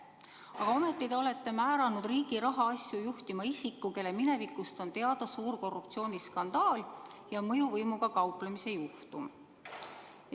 Aga ometi te olete määranud riigi rahaasju juhtima isiku, kelle minevikust on teada suur korruptsiooniskandaal ja mõjuvõimuga kauplemise juhtum.